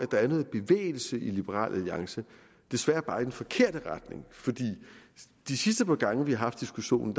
der er noget bevægelse i liberal alliance desværre bare i den forkerte retning for de sidste par gange vi har haft diskussionen